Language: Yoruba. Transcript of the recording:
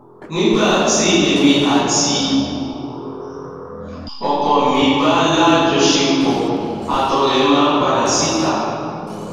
nígbà tí èmi àti ọkọ mi bá láọṣepọ àtọ rẹ máa ń padà síta